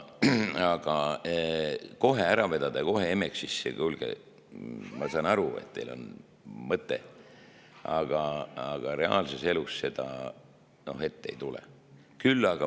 Aga kohe ära vedada ja kohe Emexisse – kuulge, ma saan aru, et teil on mõte, aga reaalses elus seda ette ei tule!